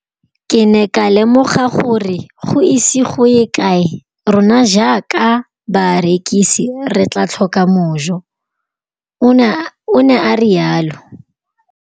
Ke ne ka lemoga gore go ise go ye kae rona jaaka barekise re tla tlhoka mojo, o ne a re jalo.